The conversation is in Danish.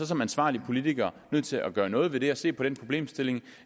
som ansvarlig politiker nødt til at gøre noget ved det og se på den problemstilling